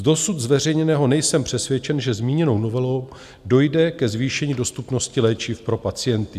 Z dosud zveřejněného nejsem přesvědčen, že zmíněnou novelou dojde ke zvýšení dostupnosti léčiv pro pacienty.